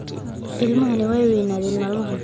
Ilmahani waa weynade maalmahan